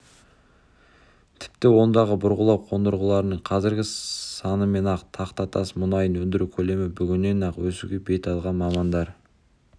тіпті ондағы бұрғылау қондырғыларының қазіргі санымен-ақ тақтатас мұнайын өндіру көлемі бүгіннен-ақ өсуге бет алған мамандар